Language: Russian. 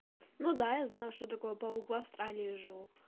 ну да я знаю что такое паук в австралии живу